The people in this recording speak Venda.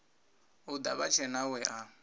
u ḓa vhatshena we a